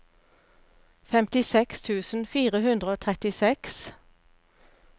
femtiseks tusen fire hundre og trettiseks